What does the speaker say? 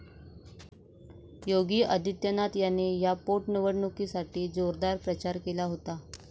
योगी आदित्यनाथ यांनी या पोटनिवडणुकीसाठी जोरदार प्रचार केला होता.